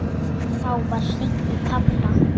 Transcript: Þá var hringt í pabba.